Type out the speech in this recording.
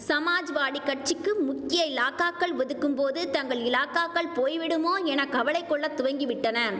சமாஜ்வாடி கட்சிக்கு முக்கிய இலாகாக்கள் ஒதுக்கும் போது தங்கள் இலாகாக்கள் போய்விடுமோ என கவலை கொள்ள துவங்கிவிட்டன